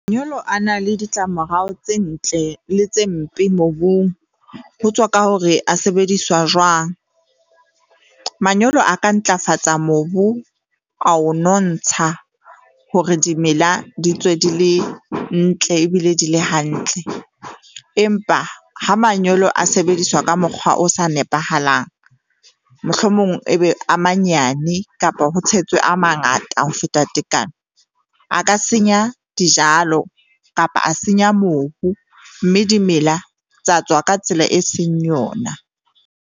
Manyolo a na le ditlamorao tse ntle le tse mpe mobung. Ho tswa ka hore a sebediswa jwang. Manyolo a ka ntlafatsa mobu a o nontsha hore dimela di tswe di le ntle ebile di le hantle. Empa ha manyolo a sebediswa ka mokgwa o sa nepahalang, mohlomong ebe a manyane kapa ho tshetswe a mangata ho feta tekanyo, a ka senya dijalo kapa a senya mobu. Mme dimela tsa tswa ka tsela e seng yona.